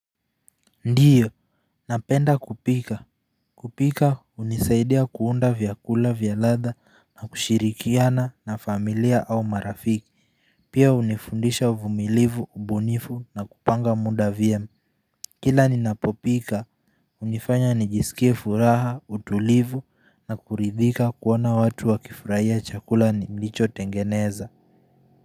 Ndiyo napenda kupika. Kupika hunisaidia kuunda vyakula vya ladha na kushirikiana na familia au marafiki. Pia hunifundisha uvumilivu, ubunifu na kupanga muda vyema. Kila ninapopika hunifanya nijisikie furaha, utulivu na kuridhika kuona watu wakifurahia chakula nilichotengeneza.